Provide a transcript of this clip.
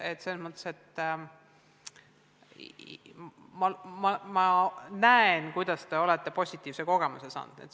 Ma näen, et selles mõttes te olete positiivse kogemuse saanud.